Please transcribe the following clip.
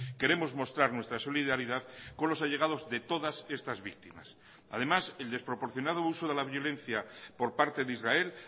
queremos mostrar nuestra solidaridad con los allegados de todas estas víctimas además el desproporcionado uso de la violencia por parte de israel